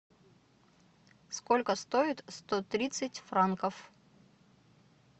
сколько стоит сто тридцать франков